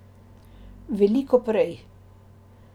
Veliko prej.